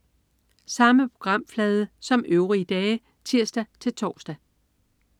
Samme programflade som øvrige dage (tirs-tors)